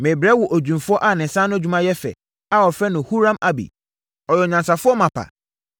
“Merebrɛ wo odwumfoɔ a ne nsa ano adwuma yɛ fɛ a wɔfrɛ no Huram-Abi. Ɔyɛ onyansafoɔ mapa